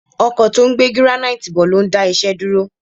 Ọkọ̀ tó ń gbé gíránáìtì bọ̀ ló ń dá iṣẹ́ dúró